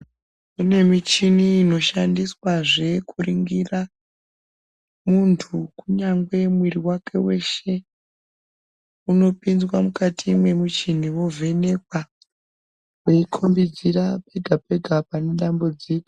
Kune michini inoshandiswazve kuningira munthu kunyangwe mwiri wake weshe unopinzwa mukati memuchini wovhenekwa weikombidza pega pega pane dambudziko .